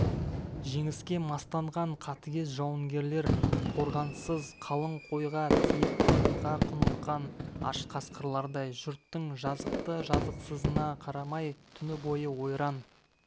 жеңіске мастанған қатігез жауынгерлер қорғансыз қалың қойға тиіп қанға құныққан аш қасқырлардай жұрттың жазықты-жазықсызына қарамай түні бойы ойран